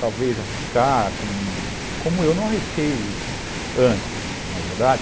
Talvez arriscar, como eu não arrisquei antes, não é verdade?